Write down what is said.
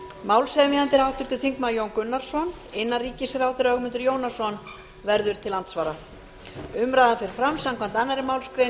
málshefjandi er háttvirtur þingmaður jón gunnarsson innanríkisráðherra ögmundur jónasson verður til andsvara umræðan fer fram samkvæmt annarri málsgrein